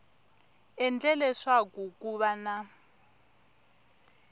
endle leswaku ku va na